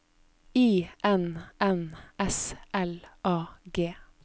I N N S L A G